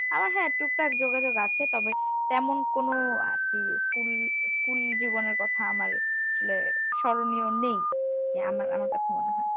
হ্যা হ্যা টুকটাক যোগাযোগ আছে তবে তেমন কোনো school school জীবনের কথা আমার আসলে স্মরণীয় নেই যে আমার আমার কাছে মনে হয়